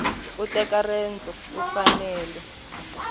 u teka rendzo u fanele